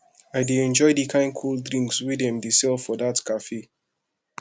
i dey enjoy di kain cold drinks wey dem dey sell for dat cafe